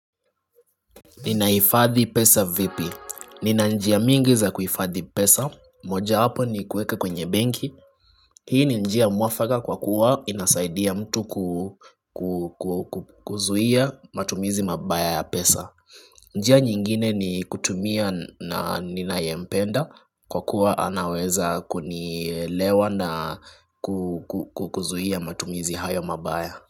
Ninaifadhi pesa vipi? Nina njia mingi za kuifadhi pesa. Mojawapo ni kuweka kwenye benki. Hii ni njia mwafaka kwa kuwa inasaidia mtu kuzuhia matumizi mabaya ya pesa. Njia nyingine ni kutumia na ninayempenda kwa kuwa anaweza kunielewa na kuzuhia matumizi hayo mabaya.